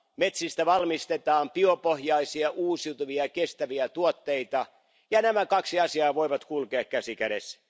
Metsistä valmistetaan biopohjaisia, uusiutuvia, kestäviä tuotteita. Nämä kaksi asiaa voivat kulkea käsi kädessä.